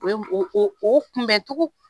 U ye mun, u kun bɛ tugu.